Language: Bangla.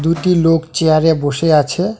দুটি লোক চেয়ার -এ বসে আছে।